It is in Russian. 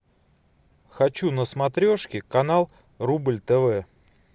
хочу на смотрешке канал рубль тв